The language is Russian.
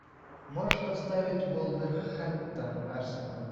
можешь поставить вулверхэмптон арсенал